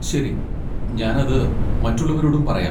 ശരി, ഞാൻ അത് മറ്റുള്ളവരോടും പറയാം.